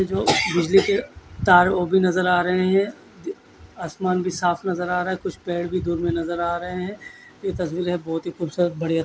इसमें बिजली के तार वो भी नज़र आ रहे है आसमान भी साफ़ नज़र आ रहा है कुछ पेड़ भी दुध्ले नज़र आ रहे है ये तस्वीरे बोहोत ही खुबसूरत बढ़िया--